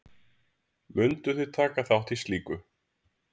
Mundu þið taka þátt í slíku?